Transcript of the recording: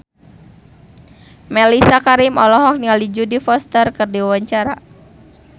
Mellisa Karim olohok ningali Jodie Foster keur diwawancara